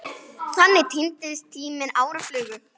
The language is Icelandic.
Þannig týnist tíminn, árin flugu.